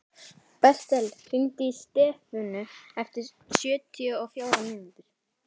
Bertel, hringdu í Stefönu eftir sjötíu og fjórar mínútur.